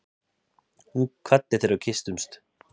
Hún kvaddi þegar við kysstumst.